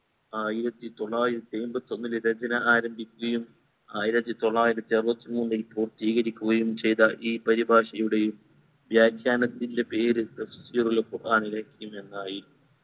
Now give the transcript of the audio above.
ആയിരത്തി തൊള്ളായിരത്തി അമ്പത്തി ഒന്നിൽ രചന ആരംഭിക്കുകയും ആയിരത്തി തൊള്ളായിരത്തി അറുപ്പത്തി മൂന്നിൽ പൂർത്തീകരിക്കുകയും ചെയ്ത ഈ പരിഭാഷയുടെയും വ്യാഖ്യാനത്തിൻറെ പേര് തഫ്‌സീറുൽ ഖുർആൻലെ എന്നായി